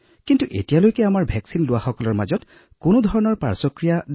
এতিয়ালৈকে আমাৰ সকলো প্ৰতিষেধকত কোনো পাৰ্শ্বক্ৰিয়া পোৱা হোৱা নাই